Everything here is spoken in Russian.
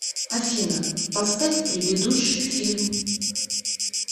афина поставь предыдущий фильм